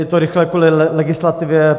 Je to rychlé kvůli legislativě.